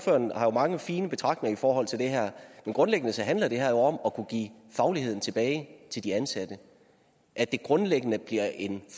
mange fine betragtninger i forhold til det her men grundlæggende handler det her om at kunne give fagligheden tilbage til de ansatte at det grundlæggende bliver en